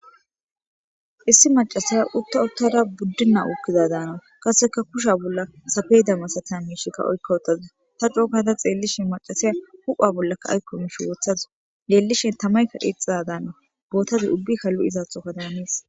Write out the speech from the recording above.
Issi macasaya utta uttara buddinna ukkida daana kaseka kusha bolla safeydamasatan hiishikka oykka wotaza ta cookata xeellishi macasaya hupha bollaka aykko mish woothazu yeellishen tamaykka dhiexada daana bootazi ubbika lu'isaatho kadamaniis.